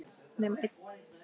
Nema einn.